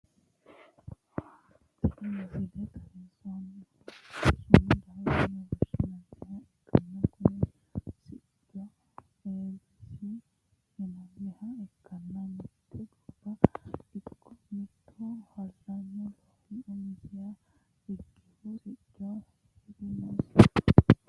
tini misile xawissannohu sumadoho yine woshshinanniha ikkanna, kuni siccino eebbeesi yinanniha ikkanna, mitte gobba ikko mittu hallanyu loosi umisiha ikkinhu siccu hee'rannosi.